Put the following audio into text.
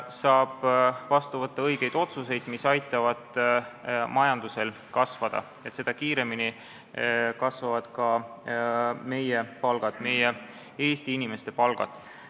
Saab vastu võtta õigeid otsuseid, mis aitavad majandusel kasvada, seda kiiremini kasvavad ka Eesti inimeste palgad.